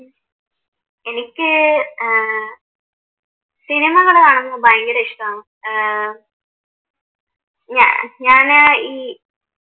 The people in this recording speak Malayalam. എനിക്ക് ഏർ സിനിമകൾ കാണുന്നത് ഭയങ്കരം ഇഷ്ട്ടമാണ്. ഞാന് ഈ